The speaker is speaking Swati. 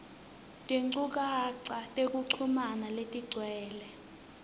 tinchukaca tekuchumana letigcwele